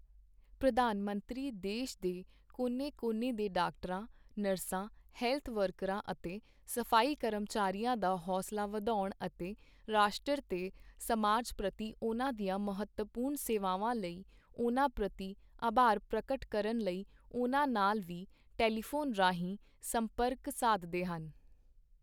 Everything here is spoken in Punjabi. ਪ੍ਰਧਾਨ ਮੰਤਰੀ ਦੇਸ਼ ਦੇ ਕੋਨੇ ਕੋਨੇ ਦੇ ਡਾਕਟਰਾਂ, ਨਰਸਾਂ, ਹੈਲਥ ਵਰਕਰਾਂ ਅਤੇ ਸਫ਼ਾਈ ਕਰਮਚਾਰੀਆਂ ਦਾ ਹੌਸਲਾ ਵਧਾਉਣ ਅਤੇ ਰਾਸ਼ਟੰਰ ਤੇ ਸਮਾਜ ਪ੍ਰਤੀ ਉਨ੍ਹਾਂ ਦੀਆਂ ਮਹੱਤਵਪੂਰਨ ਸੇਵਾਵਾਂ ਲਈ ਉਨ੍ਹਾਂ ਪ੍ਰਤੀ ਆਭਾਰ ਪ੍ਰਗਟ ਕਰਨ ਲਈ ਉਨ੍ਹਾਂ ਨਾਲ ਵੀ ਟੈਲੀਫੋਨ ਰਾਹੀਂ ਸੰਪਰਕ ਸਾਧਦੇ ਹਨ।